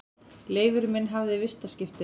Leifur minn hafði vistaskiptin.